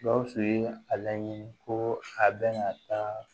Gawusu ye a laɲini ko a bɛna taa